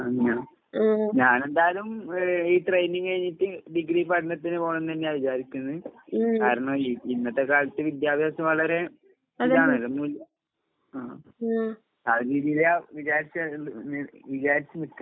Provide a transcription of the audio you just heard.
ആഹ് അങ്ങനെയാ? ഞാനെന്തായാലും ഏ ഈ ട്രെയിനിങ് കഴിഞ്ഞിട്ട് ഡിഗ്രി പഠനത്തിന് പോണന്നന്നെയാ വിചാരിക്കുന്നെ. കാരണം ഇ ഇന്നത്തെക്കാലത്ത് വിദ്യാഭ്യാസം വളരെ ഇതാണല്ലോ മൂല്യം. ആ രീതീലാ വിചാരിച്ച ഇണ്ട് നി വിചാരിച്ച് നിക്കുന്നെ.